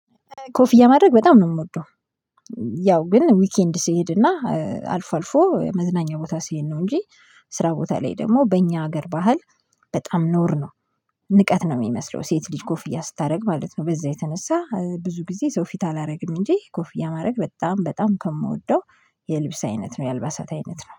ኮፍያ ማድረግ በጣም ነው የምወደው። ያው ግን ዊኬንድ ስሄድና አልፎ አልፎ መዝናኛ ቦታ ስሄድ ነው እንጂ ስራ ቦታ ላይ ደግሞ በእኛ ሀገር ባህል በጣም ነዉር ነው። ንቀት ነው የሚመስለው ሴት ልጅ ኮፍያ ስታደርግ ማለት ነው። በዛ የተነሳ ብዙ ጊዜ ሰው ፊት አላደርግም እንጂ ኮፍያ ማድረግ በጣም በጣም ከምወደው። የልብስ አይነት ነው የአልባሳት አይነት ነው